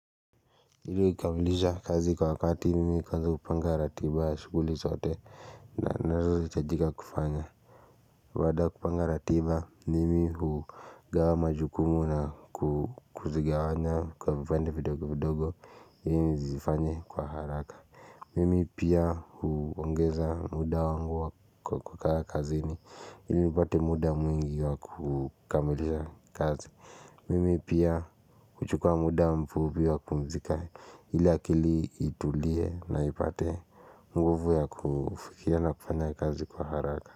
Ili kukamilisha kazi kwa wakati mimi kwanza hupanga ratiba ya shughuli zote nazohitajika kufanya baada ya kupanga ratiba mimi hugawa majukumu na kuzigawanya kwa vipande vidogo vidogo ilini zifanye kwa haraka Mimi pia huongeza muda wangu kwa kukaa kazi ni ili nipate muda mwingi wa kukamilisha kazi Mimi pia huchukua muda mfupi wa kupumzika iliakili itulie na ipate nguvu ya kufikia na kufanya kazi kwa haraka.